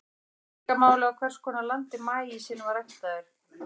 Svo skiptir líka miklu máli á hvers konar landi maísinn var ræktaður.